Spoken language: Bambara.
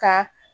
Ka